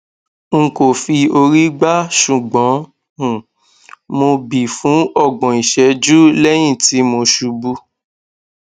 n kò fi orí gbá ṣùgbọn um mo bí fún ọgbọn ìṣẹjú lẹyìn tí mo ṣubú